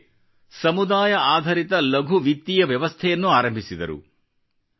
ಜೊತೆಗೆ ಸಮುದಾಯ ಆಧರಿತ ಲಘು ವಿತ್ತೀಯ ವ್ಯವಸ್ಥೆಯನ್ನು ಆರಂಭಿಸಿದರು